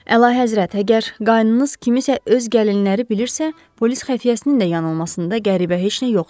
Əlahəzrət, əgər qanunuz kimisə öz gəlinləri bilirsə, polis xəfiyyəsinin də yanılmasında qəribə heç nə yoxdur.